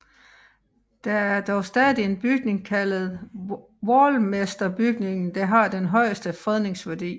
Der er dog stadig en bygning kaldet Waalmesterbygningen der har den højeste fredningsværdi